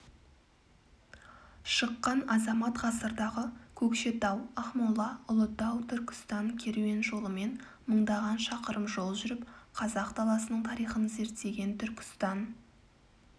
шыққан азамат ғасырдағы көкшетау-ақмола-ұлытау-түркістан керуен жолымен мыңдаған шақырым жол жүріп қазақ даласының тарихын зерттеген түркістан